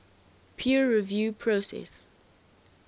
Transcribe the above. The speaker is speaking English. peer review process